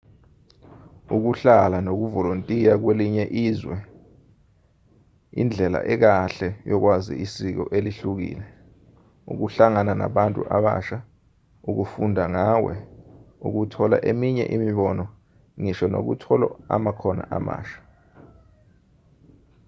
ukuhlala nokuvolontiya kwelinye izwe indlela ekahle yokwazi isiko elihlukile ukuhlangana nabantu abasha ukufunda ngawe ukuthola eminye imibono ngisho nokuthola amakhono amasha